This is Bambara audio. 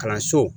Kalanso